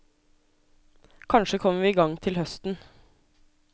Kanskje kommer vi i gang til høsten.